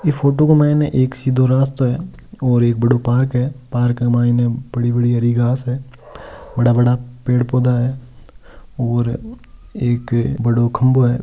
इ फोटो में एक सिधो रास्तो हैं और एक बड़ो पार्क हैं पार्क मैं बड़ी बड़ी हरी घास हैं बड़ा बड़ा पेड़ पौधा हैं और एक बड़ो खम्भों हैं।